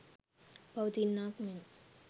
පවතින්නාක් මෙන්